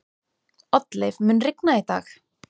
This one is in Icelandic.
Oddleif, mun rigna í dag?